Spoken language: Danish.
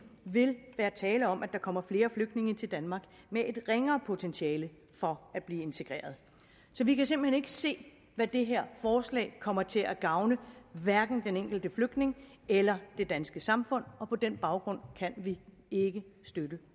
vil være tale om at der kommer flere flygtninge til danmark med et ringere potentiale for at blive integreret så vi kan simpelt hen ikke se at det her forslag kommer til at gavne hverken den enkelte flygtning eller det danske samfund på den baggrund kan vi ikke støtte